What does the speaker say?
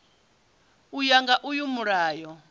u ya nga uyu mulayo